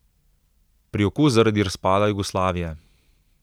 Priokus zaradi razpada Jugoslavije.